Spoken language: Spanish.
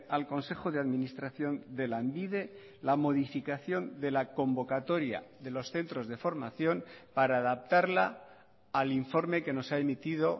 al consejo de administración de lanbide la modificación de la convocatoria de los centros de formación para adaptarla al informe que nos ha emitido